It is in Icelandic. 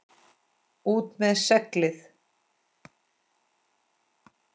ÚT MEÐ SEGLIÐ!